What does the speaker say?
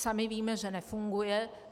Sami víme, že nefunguje.